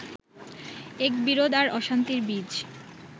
এক বিরোধ আর অশান্তির বীজ